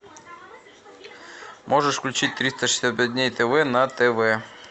можешь включить триста шестьдесят пять дней тв на тв